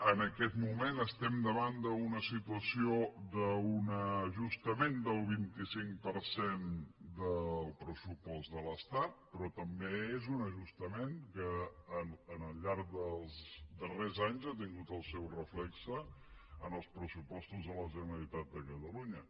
en aquest moment estem davant d’una situació d’un ajustament del vint cinc per cent del pressupost de l’estat però també és un ajustament que al llarg dels darrers anys ha tingut el seu reflex en els pressupostos de la generalitat de catalunya